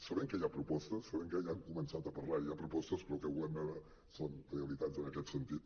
sabem que hi ha propostes sabem que ja han començat a parlar i hi ha propostes però el que volem veure són realitats en aquest sentit